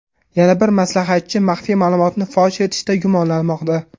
Yana bir maslahatchi maxfiy ma’lumotni fosh etishda gumonlanmoqda.